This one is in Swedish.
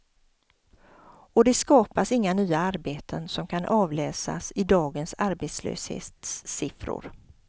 Och det skapar inga nya arbeten som kan avläsas i dagens arbetslöshetssiffror.